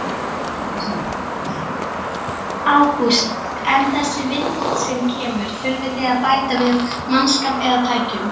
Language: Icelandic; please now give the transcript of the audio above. Ágúst: En þessi viðbót sem kemur, þurfið þið að bæta við mannskap eða tækjum?